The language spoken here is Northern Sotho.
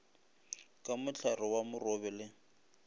ka mohlare wa morobe le